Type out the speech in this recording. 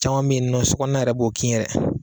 Caman bɛ yen nɔ sokɔnɔna yɛrɛ b'o kin yɛrɛ